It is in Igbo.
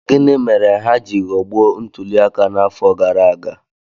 Gịnị mere ha ji ghọgbuo ntuliaka n'afọ gara aga?